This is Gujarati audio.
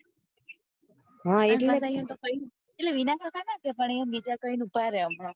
વિના કાકા ના કોઈ પણ બીજા કઈ ને ઉભા રે હમણાં